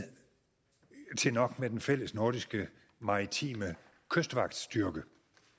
til nok med den fælles nordiske maritime kystvagtstyrke